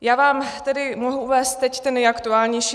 Já vám tedy mohu uvést teď ten nejaktuálnější.